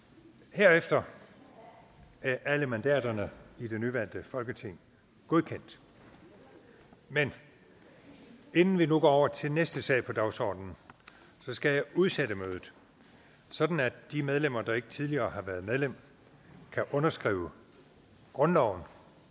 herefter er alle mandaterne i det nyvalgte folketing godkendt men inden vi nu går over til næste sag på dagsordenen skal jeg udsætte mødet sådan at de medlemmer der ikke tidligere har været medlem kan underskrive grundloven